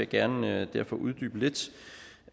gerne uddybe lidt